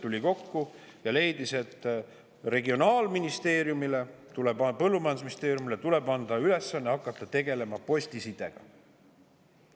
Tuli kokku ja leidis, et Regionaal‑ ja Põllumajandusministeeriumile tuleb anda ülesanne hakata tegelema postisidega.